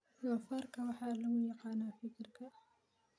Doofaarka waxaa lagu yaqaanaa fikirka.